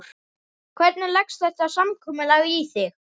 Hvernig leggst þetta samkomulag í þig?